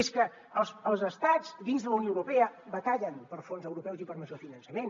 és que els estats dins de la unió europea batallen per fons europeus i per major finançament